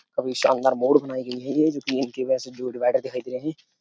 काफी शानदार मोड़ बनाई गई है। ये जो कि इनके वैसे जो डिवाइडर दिखाई दे रहे हैं।